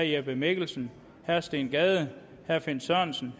jeppe mikkelsen steen gade finn sørensen